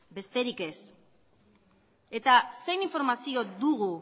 besterik ez eta zein informazioa dugu